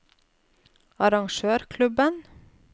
arrangørklubben